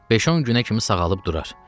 Beş-10 günə kimi sağalıb durar.